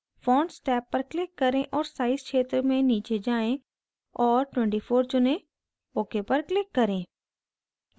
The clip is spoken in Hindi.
fonts टैब पर click करें और size क्षेत्र में नीचे जाएँ और 24 चुनें ok पर click करें